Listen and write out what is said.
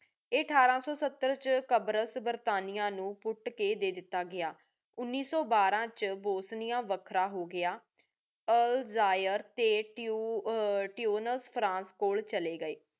ਆਯ ਅਠਾਰਾਂ ਸੋ ਸੱਤਰ ਵਿਚ ਕ਼ਾਬਾਰਾਸ ਬਰਤਾਨੀਆ ਨੂ ਕੁਟ ਕ ਦੇ ਦਤਾ ਗਯਾ। ਉਨੀ ਸੋ ਬਾਰਾ ਵਿਚ ਬੋਸ੍ਨਿਯਾ ਵਖਰਾ ਹੋ ਗਯਾ। ਅਲ੍ਜਾਇਆ ਟੀ ਹਮ ਤੁਨਿਸ ਫ੍ਰਾਂਸ ਕੋਲ ਚਲੇ ਗਏ